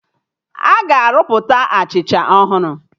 Aga arụpụta Achịcha ọhụrụ